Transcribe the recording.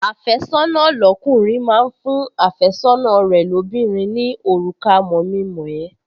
Àfẹ́sọ́nà lọ́kùnrin máa ń fún àfẹ́sọ́nà rẹ̀ lóbìnrin ní òrùka mọ̀-mi-mọ̀-ẹ́